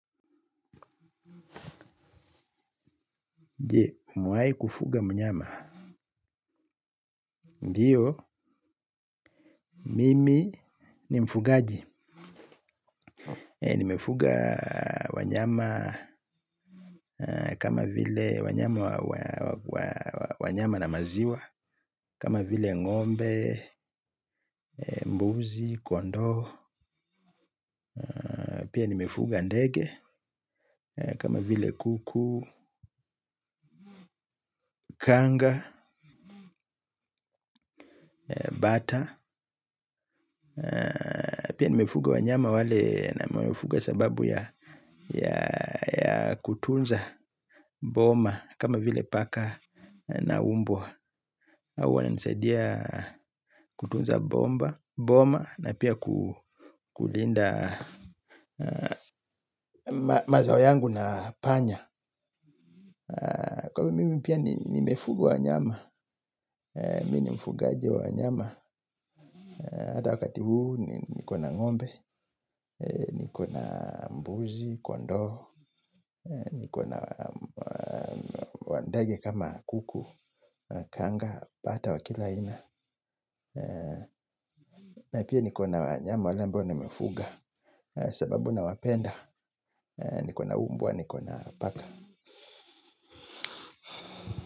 Umewai kufuga mnyama. Ndiyo, mimi ni mfugaji. Nimefuga wanyama kama vile wanyama na maziwa. Kama vile ngombe, mbuzi, kondoo. Pia nimefuga ndege. Kama vile kuku, kanga, bata. Pia nimefuga wa nyama wale na nimefuga sababu ya kutunza boma. Kama vile paka na umbwa. Hawau nisaidia kutunza bomba. Boma na pia kulinda mazao yangu na panya. Kwa ivo mimi pia nimefuga wa nyama. Mini mfugaji wa wanyama. Hata wakati huu nikona ngombe. Nikona mbuzi, kondo, nikona wandege kama kuku, kanga, bata wa kila aina. Na pia nikona wanyama wale ambao nimefuga sababu nawapenda nikona mbwa nikona paka.